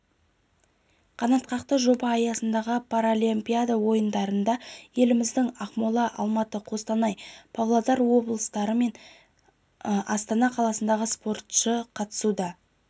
қанатқақты жоба аясындағы паралимпиада ойындарына еліміздің ақмола алматы қостанай павлодар облыстары мен астана қаласынан спортшы қатысуда